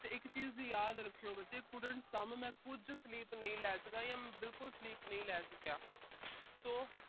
ਤੇ ਇੱਕ ਚੀਜ ਯਾਦ ਰੱਖੀਓ ਬੱਚੇ could not some ਮੈਂ ਕੁਝ sleep ਨਹੀਂ ਲੈ ਸਕਿਆ ਜਾਂ ਮੈਂ ਬਿਲਕੁਲ sleep ਨਹੀਂ ਲੈ ਸਕਿਆ। so